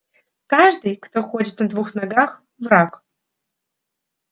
каждый кто ходит на двух ногах враг